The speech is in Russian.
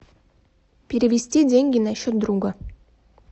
перевести деньги на счет друга